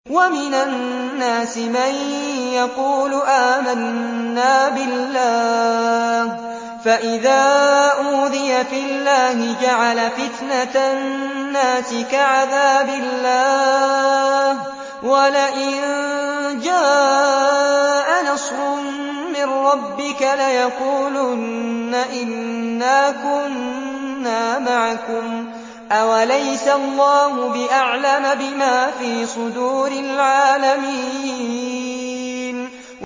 وَمِنَ النَّاسِ مَن يَقُولُ آمَنَّا بِاللَّهِ فَإِذَا أُوذِيَ فِي اللَّهِ جَعَلَ فِتْنَةَ النَّاسِ كَعَذَابِ اللَّهِ وَلَئِن جَاءَ نَصْرٌ مِّن رَّبِّكَ لَيَقُولُنَّ إِنَّا كُنَّا مَعَكُمْ ۚ أَوَلَيْسَ اللَّهُ بِأَعْلَمَ بِمَا فِي صُدُورِ الْعَالَمِينَ